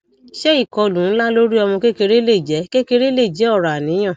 ṣé ìkọlù ńlá lórí ọmọ kékeré lè jẹ kékeré lè jẹ ọrọ àníyàn